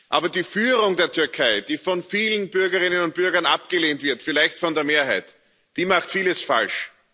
Aber die Führung der Türkei, die von vielen Bürgerinnen und Bürgern abgelehnt wird, vielleicht von der Mehrheit, die macht vieles falsch.